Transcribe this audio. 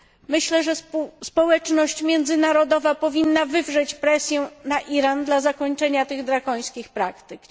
Myślę, że społeczność międzynarodowa powinna wywrzeć presję na Iran w celu zakończenia tych drakońskich praktyk.